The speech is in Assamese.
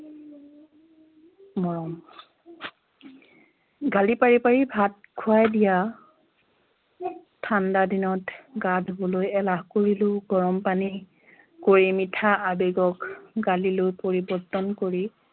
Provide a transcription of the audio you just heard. মৰম গালি পাৰি পাৰি ভাত খুৱাই দিয়া ঠান্ডা দিনত গা ধুবলৈ এলাহ কৰিলেও গৰম পানী কৰি মিঠা আৱেগক গালিলৈ পৰিৱৰ্তন কৰি